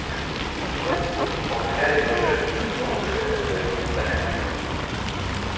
взгляд филча упал на гарри и тут же метнулся к конверту на столе